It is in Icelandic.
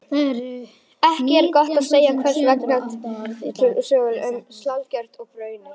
Ekki er gott að segja hvers vegna túkall fylgir sönglinu um saltkjöt og baunir.